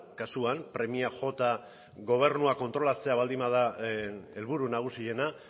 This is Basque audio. kasuan premia jota gobernua kontrolatzea baldin bada helburu nagusiena